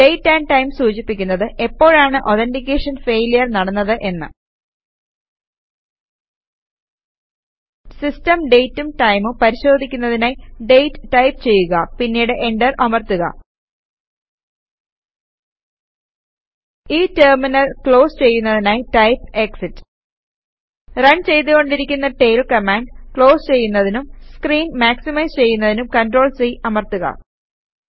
date amp time സൂചിപ്പിക്കുന്നത് എപ്പോഴാണ് authentication failure നടന്നത് എന്ന് സിസ്റ്റം ഡേറ്റും ടൈമും പരിശോധിക്കുന്നതിനായി ഡേറ്റ് ടൈപ്പ് ചെയ്യുക പിന്നീട് എന്റർ അമർത്തുക ഈ ടെർമിനൽ ക്ലോസ് ചെയ്യുന്നതിനായി ടൈപ് എക്സിറ്റ് റൺ ചെയ്തു കൊണ്ടിരിക്കുന്ന ടെയിൽ കമാൻഡ് ക്ലോസ് ചെയ്യുന്നതിനും സ്ക്രീൻ മാക്സിമൈസ് ചെയ്യുന്നതിനും CTRL C അമർത്തുക